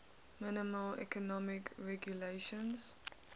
minimal economic regulations